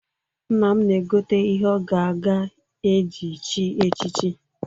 Nna m na-egote ihe ọ ga-aga eji chi echichi.